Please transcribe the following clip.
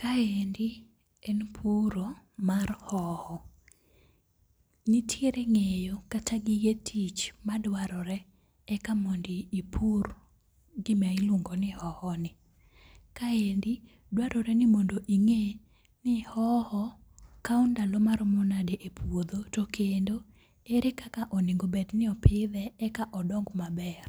Kaendi en puro mar ohoho, nitiere nge'yo kata gige tich maduarore eka mondipur gima iluongoni hohoni, kaendi dwarore ni mondinge' ni hoho kawo ndalo maromo nade e puotho to kendo ere kaka onego bed no opithe eka odong' maber,